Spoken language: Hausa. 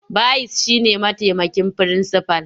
Bayis shi ne mataimakin firinsifal.